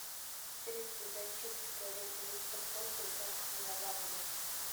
средство для очистки туалета мистер пропер с запахом лаванды